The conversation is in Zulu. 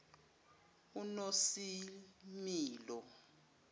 unosimilo